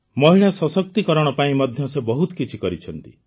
ମହିଳା ସଶକ୍ତିକରଣ ପାଇଁ ମଧ୍ୟ ସେ ବହୁତ କିଛି କରିଛନ୍ତି